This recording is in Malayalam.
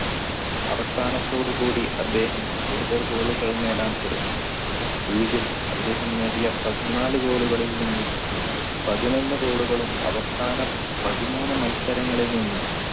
അവസാനത്തോടുകൂടി അദ്ദേഹം കൂടുതൽ goal കൾ നേടാൻ തുടങ്ങി league ൽ അദ്ദേഹം നേടിയ പതിനാല് goal കളിൽ നിന്ന് പതിനൊന്നിന് goal കളും അവസാനം പതിമൂന്ന് മത്സരങ്ങളിൽ നിന്ന്